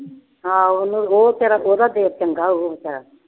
ਹਾਂ ਉਹਨੂੰ ਉਹ ਬੇਚਾਰਾ ਉਹਦਾ ਦਿਲ ਚੰਗਾ ਉਹ ਬੇਚਾਰਾ।